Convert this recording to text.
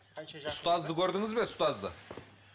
ұстазды көрдіңіз бе ұстазды